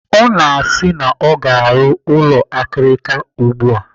Ọ na-asị na ọ ga-arụ ụlọ akirika ugbu a.